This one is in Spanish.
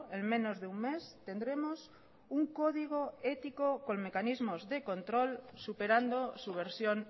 en menos de un mes tendremos un código ético con mecanismos de control superando su versión